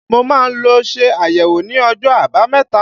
Mo ma lọ ṣe àyẹ̀wò ní ọjọ́ àbámẹ̀ta.